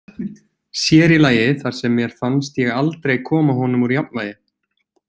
Sér í lagi þar sem mér fannst ég aldrei koma honum úr jafnvægi.